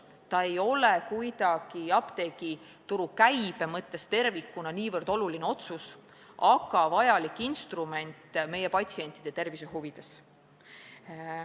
See ei oleks apteegituru kogukäibe mõttes oluline otsus, aga annaks vajaliku instrumendi, mida me vajame patsientide tervise huvides.